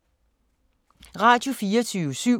Radio24syv